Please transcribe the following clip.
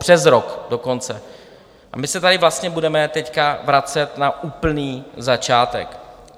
Přes rok dokonce, a my se tady vlastně budeme teď vracet na úplný začátek.